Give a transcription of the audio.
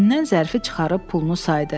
Cibindən zərfini çıxarıb pulunu saydı.